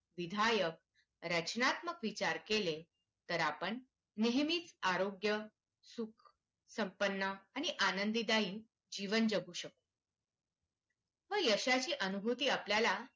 विधायक रचनात्मक विचार केले तर आपण नेहमीच आरोग्य संपन्न आणि आनंददायी जीवन जगू शकतो व यशाची अनुभूती आपल्याला